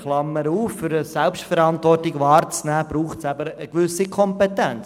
Eine Klammerbemerkung: Um Selbstverantwortung wahrnehmen zu können, braucht es eine gewisse Kompetenz.